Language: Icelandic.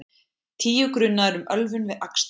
Tíu grunaðir um ölvun við akstur